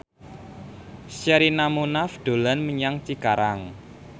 Sherina Munaf dolan menyang Cikarang